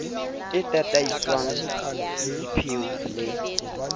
e tataiswa ke dipheo le